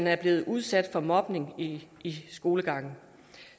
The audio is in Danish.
er blevet udsat for mobning i i skolegangen